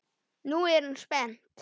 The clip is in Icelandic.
Nú er hún spennt.